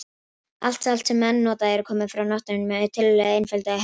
Allt salt sem menn nota er komið frá náttúrunni með tiltölulega einföldum hætti.